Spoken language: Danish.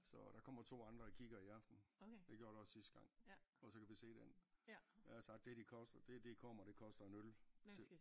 Så der kommer 2 andre og kigger i aften det gjorde der også sidste gang og så kan vi se den jeg har sagt det de koster det det i kommer det koster en øl til